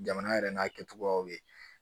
Jamana yɛrɛ n'a kɛcogoyaw ye